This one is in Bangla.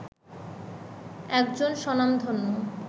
একজন স্বনামধন্য